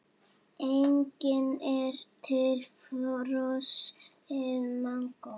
Einnig er til frosið mangó.